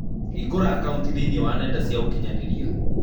Hingũra akaũnti thĩinĩ wa nenda cia ũkĩnyaniria